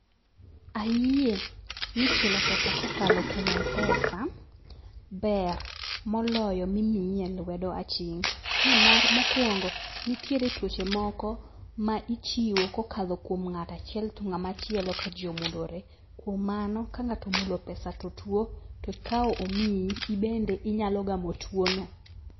Ayie ni chulo pesa kokalo kuom mpesa ber moloyo mimiyi e lwedo aching' nimar mokwongo, nitiere tuoche moko ma ichiwo kokalo kuom ng'ata chiel to ng'ama chielo kajii omulore . Kuom mano kang'ato omulo pesa to tuo to okawo omiyi ibende inyalo gamo tuo no.